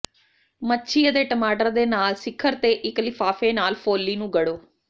ਮੱਛੀ ਅਤੇ ਟਮਾਟਰ ਦੇ ਨਾਲ ਸਿਖਰ ਤੇ ਇਕ ਲਿਫਾਫੇ ਨਾਲ ਫੋਲੀ ਨੂੰ ਗੜੋ